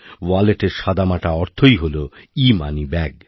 ওয়ালেটের সাদামাটা অর্থ হল ইমানিব্যাগ